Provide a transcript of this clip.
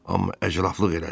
Amma əcləflıq elədin.